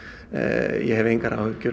ég hef engar áhyggjur